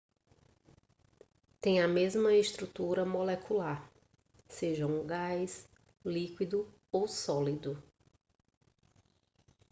tem a mesma estrutura molecular seja um gás líquido ou sólido